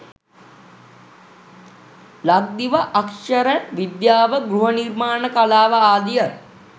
ලක්දිව අක්‍ෂර විද්‍යාව, ගෘහ නිර්මාණ කලාව ආදිය